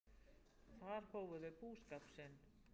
Þar hófu þau búskap sinn.